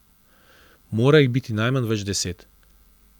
Mora jih biti najmanj več deset.